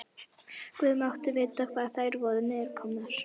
Guð mátti vita hvar þær voru niðurkomnar.